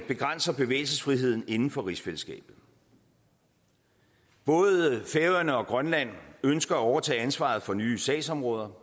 begrænser bevægelsesfriheden inden for rigsfællesskabet både færøerne og grønland ønsker at overtage ansvaret for nye sagsområder